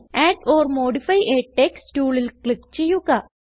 add or modify a text ടൂളിൽ click ചെയ്യുക